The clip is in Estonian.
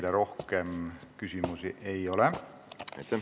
Teile rohkem küsimusi ei ole.